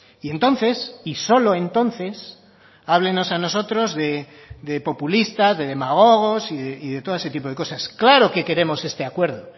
y entonces y solo entonces háblennos a nosotros de populistas de demagogos y de todo ese tipo de cosas claro que queremos este acuerdo